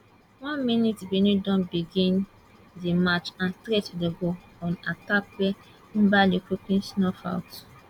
one min benin don begin di match and straight dem go on attack wey nwabali quickly snuff out